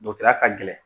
ya ka gɛlɛn